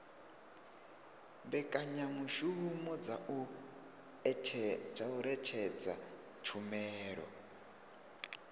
mbekanyamushumo dza u ṅetshedza tshumelo